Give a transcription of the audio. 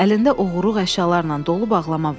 Əlində oğurluq əşyalarla dolu bağlama vardı.